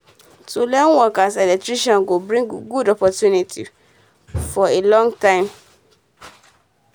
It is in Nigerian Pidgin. to learn work as electrician go bring good opportunity um for a long time